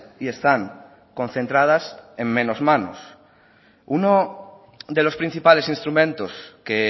y están concentradas en menos manos uno de los principales instrumentos que